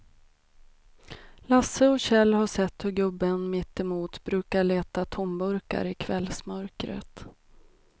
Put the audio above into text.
Lasse och Kjell har sett hur gubben mittemot brukar leta tomburkar i kvällsmörkret.